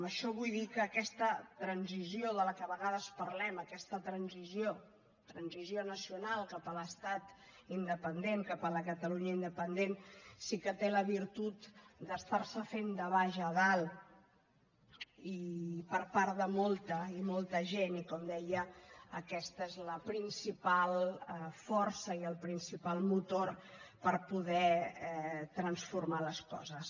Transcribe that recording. amb això vull dir que aquesta transició de la qual de vegades parlem aquesta transició transició nacional cap a l’estat independent cap a la catalunya independent sí que té la virtut d’estar se fent de baix a dalt i per part de molta i molta gent i com deia aquesta és la principal força i el principal motor per poder transformar les coses